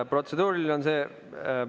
Protseduuriline on see ...